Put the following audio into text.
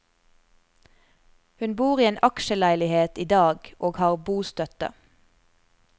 Hun bor i en aksjeleilighet i dag og har bostøtte.